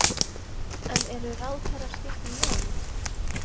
En eru ráðherraskipti í nánd?